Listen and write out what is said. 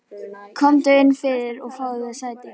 Komdu inn fyrir og fáðu þér sæti.